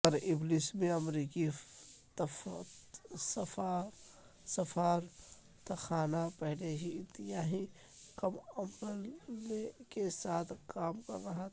طرابلس میں امریکی سفارتخانہ پہلے ہی انتہائی کم عملے کے ساتھ کام کر رہا تھا